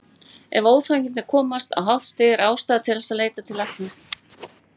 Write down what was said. Ef óþægindin komast á hátt stig er ástæða til þess að leita læknis.